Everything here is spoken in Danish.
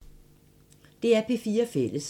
DR P4 Fælles